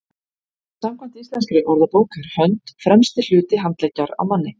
samkvæmt íslenskri orðabók er hönd „fremsti hluti handleggjar á manni